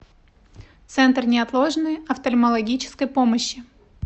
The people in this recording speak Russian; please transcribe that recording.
центр неотложной офтальмологической помощи